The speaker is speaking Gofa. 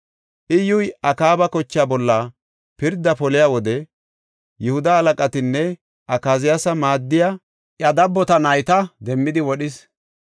Iyyuy Akaaba kochaa bolla pirdaa poliya wode Yihuda halaqatanne Akaziyaasa maaddiya iya dabbota nayta demmidi wodhis.